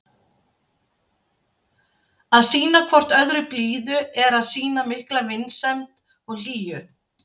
Að sýna hvort öðru blíðu er að sýna mikla vinsemd og hlýju.